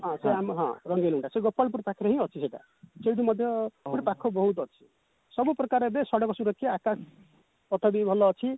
ହଁ ସେ ଆମ ହଁ ରଙ୍ଗେଇଲୁଣ୍ଡା ସେ ଗୋପାଳପୁର ପାଖରେ ଅଛି ସେଇଟା ସେଉଠୁ ମଧ୍ୟ ବହୁତ ଅଛି ସବୁ ପ୍ରକାର ଏବେ ସଡକ ସୁରକ୍ଷା ଆକାଶ ପଥ ବି ଭଲ ଅଛି